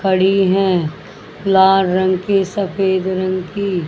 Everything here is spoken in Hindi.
खड़ी हैं लाल रंग की सफेद रंग की।